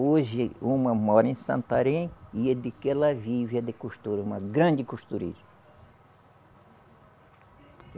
Hoje uma mora em Santarém e é de que ela vive é de costura, uma grande costureira